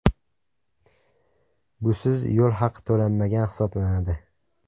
Busiz yo‘l haqi to‘lanmagan hisoblanadi.